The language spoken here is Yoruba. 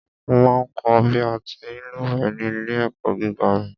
Mo ma ń kọ̀ bí a ti ń lúwẹ̀ẹ́ ní ilé-ẹ̀kọ́ gíga mi.